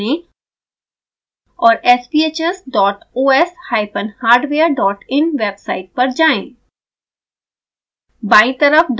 web browser खोलें और sbhs dot os hyphen hardware dot in website पर जाएँ